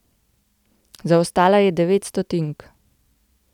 Zaostala je devet stotink.